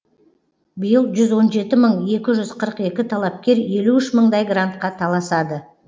биыл жүз он жеті мың екі жүз қырық екі талапкер елу үш мыңдай грантқа таласады